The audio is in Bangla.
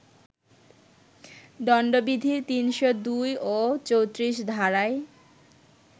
দণ্ডবিধির ৩০২ ও ৩৪ ধারায়